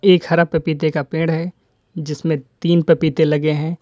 एक हरा पपीते का पेड़ है जिसमें तीन पपीते लगे हैं।